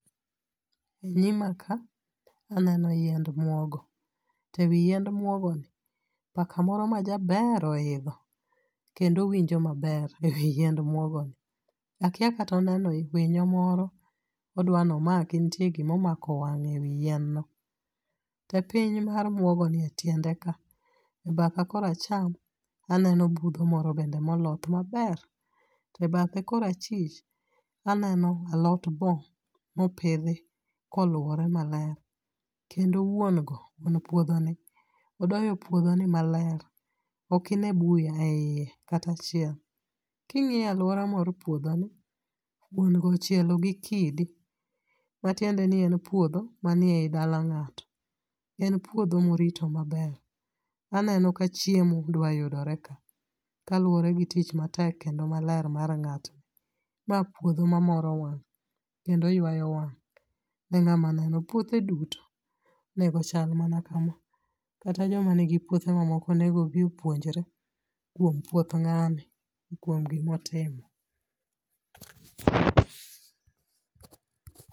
Nyima ka, aneno yiend muogo. To ewi yiend muogoni, paka moro majaber oidho, kendo winjo maber ewi yiend muogoni. Akia kata oneno winyo moro, odwani omaki ntie gima omako wang'e e wi yien no. To epiny mar muogoni etiende ka, e batha kor acham, aneno budho moro bende moloth maber. To e bathe kor achich, aneno alot boo mopidhi koluore maler. Kendo wuon go, wuon puodhoni, odoyo puodhoni maler, okine buya e iye kata achiel. King'iyo aluora mar puodhoni, wuon go ochielo gi kidi, matiendeni en puodho manie dala ng'ato. En puodho morito maber. Aneno ka chiemo dwa yudore ka, kaluore gi tich matek kendo maler mar ng'atni. Ma puodho mamoro wang' kendo yuayo wang' ne ng'ama neno. Puothe duto onego chal mana kama. Kata joma nigi puothe mamoko onego obi opuonjre kuom puodh ng'ani kuom gimotimo.